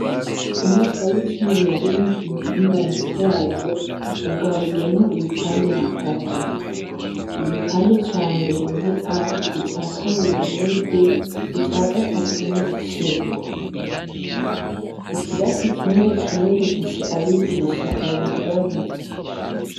Umwaka w'icumi na rimwe ku mutumba wa Matyazo ugabuyemwo ibipande bitatu, igipande ca mbere ni a, ica kabiri ni b, ica gatatu ni c, ikirasi kimwe kimwe gifise abigisha babiri babiri.